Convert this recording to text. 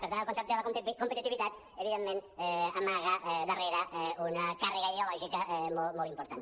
per tant el concepte de la competitivitat evidentment amaga darrere una càrrega ideològica molt important